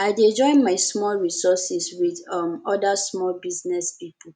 i dey join my small resource wit um oda small business pipo